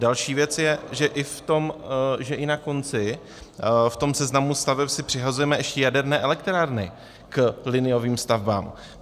Další věc je, že i na konci v tom seznamu staveb si přihazujeme ještě jaderné elektrárny k liniovým stavbám.